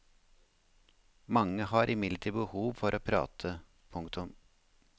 Mange har imidlertid behov for å prate. punktum